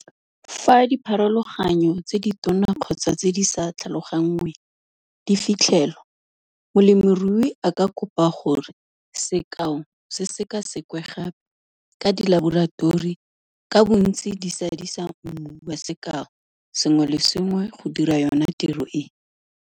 Fa dipharologanyo tse ditona kgotsa tse di sa "tlhalogangweng" di fitlhelwa molemirui a ka kopa gore sekao se sekasekwe gape ka dilaboratori ka bontsi di sadisa mmu wa sekao sengwe le sengwe go dira yona tiro e.